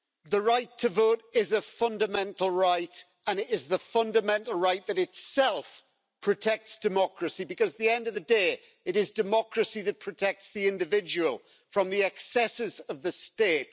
The right to vote is a fundamental right, and it is the fundamental right that itself protects democracy, because at the end of the day, it is democracy that protects the individual from the excesses of the state.